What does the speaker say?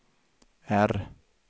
R